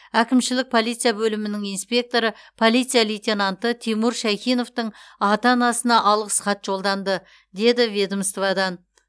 әкімшілік полиция бөлімінің инспекторы полиция лейтенанты тимур шайхиновтың ата анасына алғыс хат жолданды деді ведомстводан